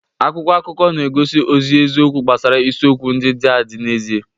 Akwụkwọ akụkọ na-egosi ozi eziokwu gbasara isiokwu ndị dị adị n'ezie.